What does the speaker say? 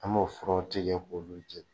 An m'o furaw tigɛ k'olu jɛni